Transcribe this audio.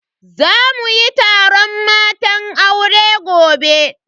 Za muyi taron matan aure gobe.